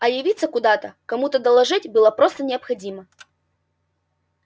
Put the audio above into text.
а явиться куда-то кому-то доложить было просто необходимо